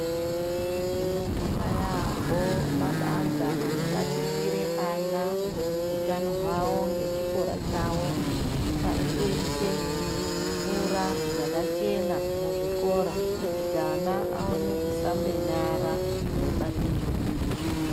Tinobonga yaambo mabandla anobatikira ana ,utano hwavo nechikora chavo. Arikuise mvura yakachena muzvikora kuti ana aone kushambe nyara eibata chokudya.